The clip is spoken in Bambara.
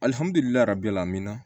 min na